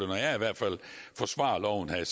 jeg i hvert fald forsvarer loven her er